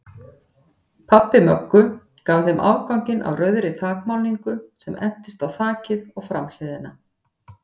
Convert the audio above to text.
Pabbi Möggu gaf þeim afganginn af rauðri þakmálningu sem entist á þakið og framhliðina.